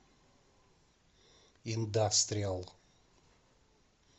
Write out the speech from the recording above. индастриал